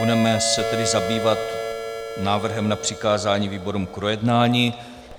Budeme se tedy zabývat návrhem na přikázání výborům k projednání.